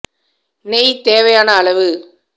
நெய் தேவையான அளவு